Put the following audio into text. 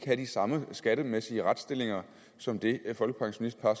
have den samme skattemæssige retsstilling som det folkepensionistpar